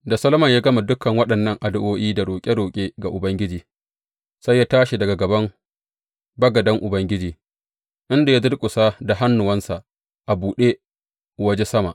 Da Solomon ya gama dukan waɗannan addu’o’i da roƙe roƙe ga Ubangiji, sai ya tashi daga gaban bagaden Ubangiji, inda ya durƙusa da hannuwansa a buɗe waje sama.